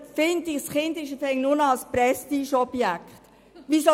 Ein Kind scheint nur noch ein Prestigeobjekt zu sein.